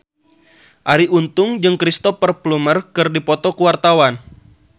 Arie Untung jeung Cristhoper Plumer keur dipoto ku wartawan